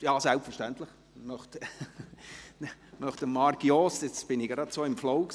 Ja, selbstverständlich – jetzt war ich gerade so im Flow.